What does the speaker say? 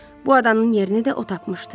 Bu adanın yerini də o tapmışdı.